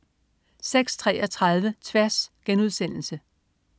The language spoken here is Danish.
06.33 Tværs*